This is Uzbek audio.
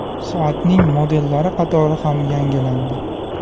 Soatning modellari qatori ham yangilandi.